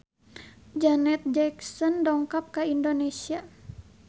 Janet Jackson dongkap ka Indonesia